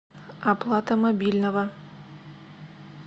оплата мобильного